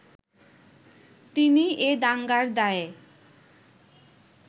তিনি এ দাঙ্গার দায়ে